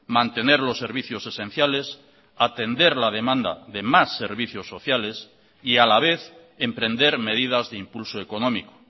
mantener los servicios esenciales atender la demanda de más servicios sociales y a la vez emprender medidas de impulso económico